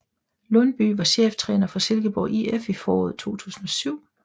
Lundbye var cheftræner for Silkeborg IF i foråret 2007